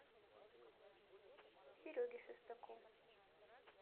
сереге шестаку